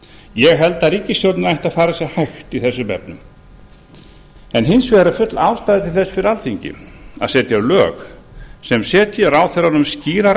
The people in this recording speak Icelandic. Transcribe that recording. ég held að ríkisstjórnin ætti að fara sér hægt í þessum efnum hins vegar er full ástæða til þess fyrir alþingi að setja lög sem setji ráðherrunum skýrar